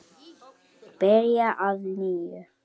Byrja að nýju?